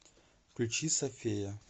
включи сафея